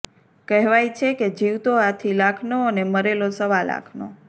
કહેવાય છે કે જીવતો હાથી લાખનો અને મરેલો સાવ લાખનો